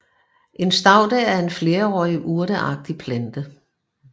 En staude er en flerårig urteagtig plante